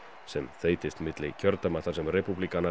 sem þeytist milli kjördæma þar sem